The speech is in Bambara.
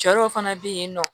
Cɛ dɔw fana be yen nɔ